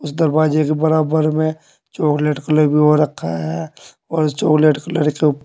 दरवाजे के बराबर में चॉकलेट कलर भी हो रखा है और चॉकलेट कलर के ऊप--